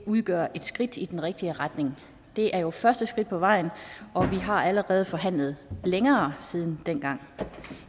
udgør et skridt i den rigtige retning det er jo første skridt på vejen og vi har allerede forhandlet i længere tid